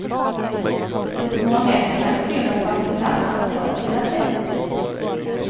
Hos många är det tradition att baka saffransbröd till advent.